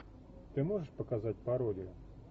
ты можешь показать пародию